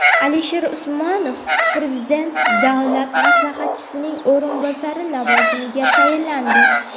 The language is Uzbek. Alisher Usmanov Prezident Davlat maslahatchisining o‘rinbosari lavozimiga tayinlandi.